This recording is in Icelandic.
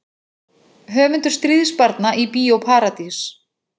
Höfundur Stríðsbarna í Bíó Paradís